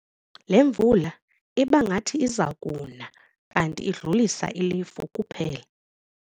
Le mvula ibingathi iza kuna kanti idlulisa ilifu kuphela.